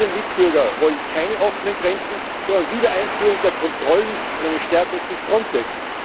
Unsere Mitbürger wollen keine offenen Grenzen, sondern Wiedereinführung der Kontrollen und eine Stärkung von Frontex.